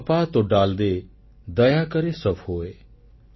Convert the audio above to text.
ୟହ୍ ଆପା ତୋ ଡାଲ୍ ଦେ ଦୟାକରେ ସବ୍ ହୋୟ